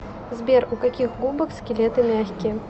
сбер у каких губок скелеты мягкие